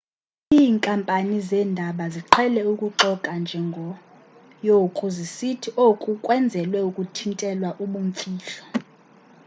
iinkampani zeendaba ziqhele ukuxoka ngenjongo yoku zisithi oku kwenzelwe ukuthintela ubumfihlo